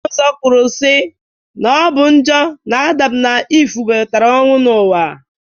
Akwụkwọ Nsọ kwuru si na ọ bụ njọ na Adam na Ive webatara ọnwụ n'ụwa